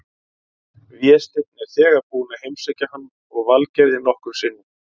Vésteinn er þegar búinn að heimsækja hann og Valgerði nokkrum sinnum.